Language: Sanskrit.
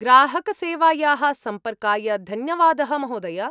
ग्राहकसेवायाः सम्पर्काय धन्यवादः, महोदय।